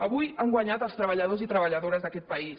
avui han guanyat els treballadors i treballadores d’aquest país